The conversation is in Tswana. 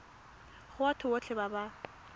go batho botlhe ba ba